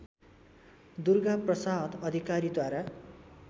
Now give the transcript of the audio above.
दुर्गाप्रसाद अधिकारीद्वारा